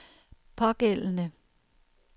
pågældende